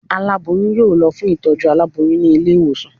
Alaboyun yóò lo fún itojú àláboyún ni ilé iwosàn